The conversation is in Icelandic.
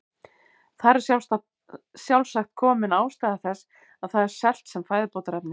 Þar er sjálfsagt komin ástæða þess að það er selt sem fæðubótarefni.